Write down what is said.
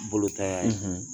Bolo taya ye,